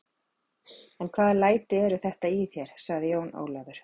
En hvaða læti eru þetta í þér, sagði Jón Ólafur.